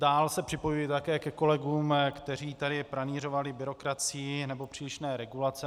Dál se připojuji také ke kolegům, kteří tady pranýřovali byrokracii nebo přílišné regulace.